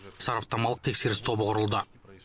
сараптамалық тексеріс тобы құрылды